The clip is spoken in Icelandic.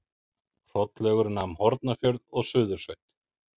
Hrollaugur nam Hornafjörð og Suðursveit.